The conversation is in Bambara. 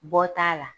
Bɔ t'a la